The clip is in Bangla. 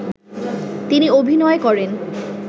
তিনি অভিনয় করেন